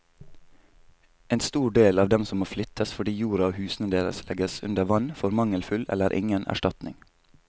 En stor del av dem som må flyttes fordi jorda og husene deres legges under vann, får mangelfull eller ingen erstatning.